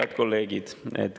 Head kolleegid!